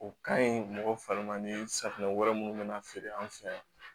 O ka ɲi mɔgɔ fari ma ni safunɛ wɛrɛ minnu bɛna feere an fɛ yan